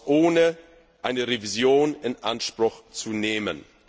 ohne eine Revision in Anspruch zu nehmen.